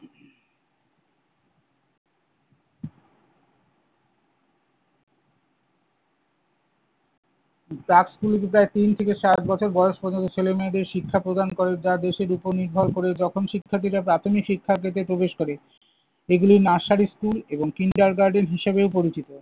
প্রাক স্কুল তিন থেকে সাত বছর বয়স পর্যন্ত ছেলেমেয়েদের শিক্ষা প্রদান করে, যা দেশের উপর নির্ভর করে। যখন শিক্ষার্থীরা প্রাথমিক শিক্ষা ক্ষেত্রে প্রবেশ করে। এগুলো nursery স্কুল এবং kindergarten হিসেবেও পরিচিত।